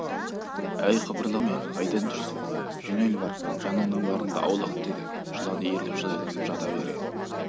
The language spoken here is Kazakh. әй қыбырлаған неме қайдан жүрсің жөнел бар жаныңның барында аулақ деді жылан иіріліп жайланып жата бере